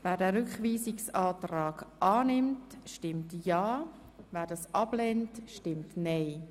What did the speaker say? Wer diesen Rückweisungsantrag annimmt, stimmt ja, wer dies ablehnt, stimmt nein.